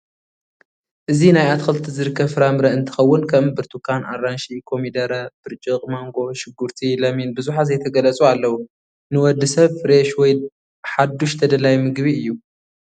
እዚ ናይ አትክልቲ ዝርከብ ፈራምረ እንትከውን ከም ቡርትኻን ፣ አራንሽ ፣ኮሞደረ ፣ ብሪጪቅ ማንጎ ፣ ሽጉርቲ ለሚን ብዛሓት ዘይተገለፁ አለው ነወድሰብ ፈረሽ ወይ ሓዱሽ ተደላይ ምግብ እዩ።